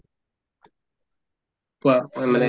কোৱা